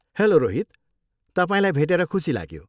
Hello Rohit, तपाईँलाई भेटेर खुसी लाग्यो।